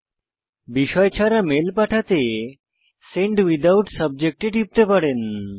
বিনা বিষয়ের মেল পাঠাতে send without subject এ টিপতে পারেন